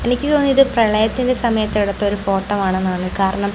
എനിക്ക് തോന്നുന്നു ഇത് പ്രണയത്തിന്റെ സമയത്തു എടുത്ത ഒരു ഫോട്ടോ ആണെന്നാണ് കാരണം--